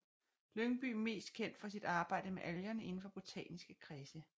Lyngbye mest kendt for sit arbejde med algerne indenfor botaniske kredse